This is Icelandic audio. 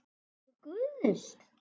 Flokkur Guðs?